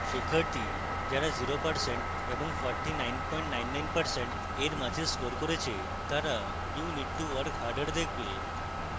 শিক্ষার্থী যারা 0% এবং 4999% এর মাঝে score করে তারা you need to work harder দেখবে